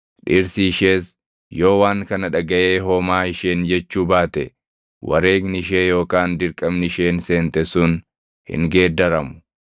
dhirsi ishees yoo waan kana dhagaʼee homaa isheen jechuu baate wareegni ishee yookaan dirqamni isheen seente sun hin geeddaramu.